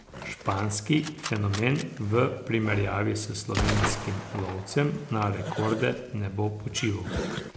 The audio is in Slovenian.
Španski fenomen v primerjavi s slovenskim lovcem na rekorde ne bo počival.